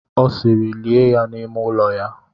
Ọ sịịrị, lie ya n'ime ụlọ ya!